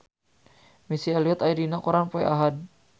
Missy Elliott aya dina koran poe Ahad